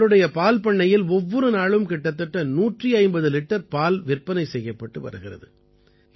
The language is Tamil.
இவருடைய பால் பண்ணையில் ஒவ்வொரு நாளும் கிட்டத்தட்ட 150 லிட்டர் பால் விற்பனை செய்யப்பட்டு வருகிறது